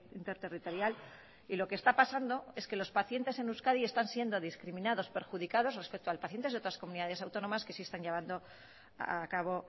interterritorial y lo que está pasando es que los pacientes en euskadi están siendo discriminados y perjudicados respecto a los pacientes de otras comunidades autónomas que sí están llevando a cabo